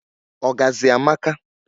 ọgazị amaka